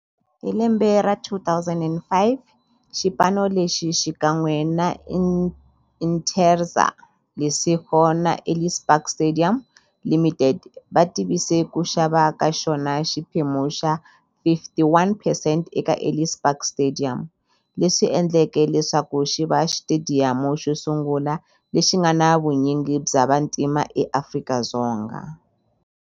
Hi lembe ra 2005, xipano lexi, xikan'we na Interza Lesego na Ellis Park Stadium Ltd, va tivise ku xava ka xona xiphemu xa 51 percent eka Ellis Park Stadium, leswi endleke leswaku xiva xitediyamu xosungula lexi nga na vunyingi bya vantima eAfrika-Dzonga.